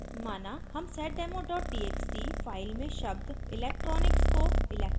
माना हम seddemo txt file में शब्द electronics को electrical से